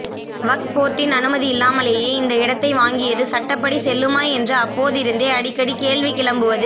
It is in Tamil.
வக்ப் போர்டின் அனுமதி இல்லாமலேயே இந்த இடத்தை வாங்கியது சட்டப்படி செல்லுமா என்று அப்போதிருந்தே அடிக்கடி கேள்வி கிளம்புவது